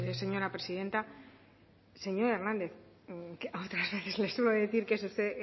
señora presidenta señor hernández otras veces le suelo decir que es usted